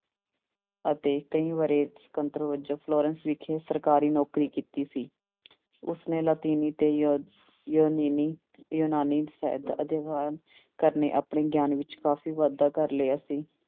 ਅਤੇ ਕਈ ਵਰ੍ਹੇ ਫਲੋਰੈਂਸ ਵਿਖੇ ਸਰਕਾਰੀ ਨੌਕਰੀ ਕੀਤੀ ਸੀ ਉਸਨੇ ਲਾਤੀਨੀ ਤੇ ਜ ਯੂਨਾਨੀ ਯੂਨਾਨੀ ਸਾਹਿਤ ਦਾ ਅਧਿਐਨ ਕਰਨੇ ਆਪਣੇੇ ਗਿਆਨ ਵਿੱਚ ਕਾਫ਼ੀ ਵਾਧਾ ਕਰ ਲਿਆ ਸੀ।